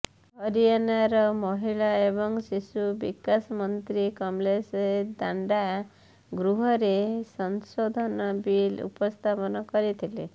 ହରିୟାଣାର ମହିଳା ଏବଂ ଶିଶୁ ବିକାଶ ମନ୍ତ୍ରୀ କମଲେଶ ଦାଣ୍ଡା ଗୃହରେ ସଂଶୋଧନ ବିଲ୍ ଉପସ୍ଥାପନ କରିଥିଲେ